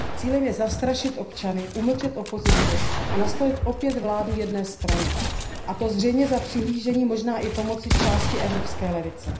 Cílem je zastrašit občany, umlčet opozici a nastolit opět vládu jedné strany, a to zřejmě za přihlížení, možná i pomoci, části evropské levice.